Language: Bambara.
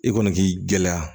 I kɔni k'i gɛlɛya